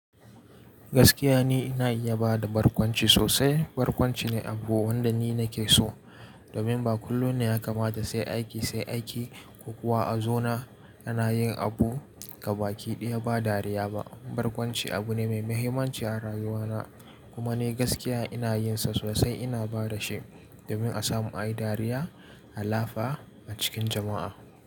Gaskiya ne ina iya bada barkwanci sosai. Barkwanci ne abu wanda ni nake so. Domin ba kullum ne ya kamata sai aiki sai aiki ko kuwa a zona ana yin abu gaba ki ɗaya ba dariya ba. Barkwanci abu ne mai mahimmanci a rayuwana kuma ni gaskiya ina yin sa sosai ina bada shi domin a samu ayi dariya, halafa a cikin jama'a.